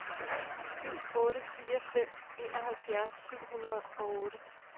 syv otte fire fem enoghalvfjerds syv hundrede og otte